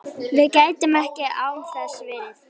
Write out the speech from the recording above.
Við gætum ekki án þess verið